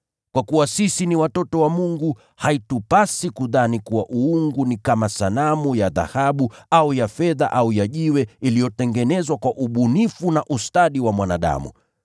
“Kwa kuwa sisi ni watoto wa Mungu, haitupasi kudhani kuwa uungu ni kama sanamu ya dhahabu au ya fedha au ya jiwe, mfano uliotengenezwa kwa ubunifu na ustadi wa mwanadamu.